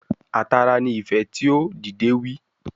A tara ni ife tio, dide wi